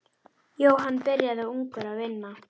Jóhann byrjaði ungur að vinna.